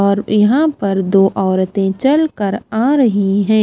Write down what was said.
और यहां पर दो औरतें चलकर आ रही हैं।